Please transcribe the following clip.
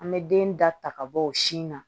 An bɛ den da ta ka bɔ o sin na